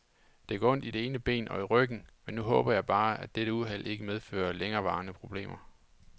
Det gør ondt i det ene ben og i ryggen, men nu håber jeg bare, at dette uheld ikke medfører længerevarende problemer.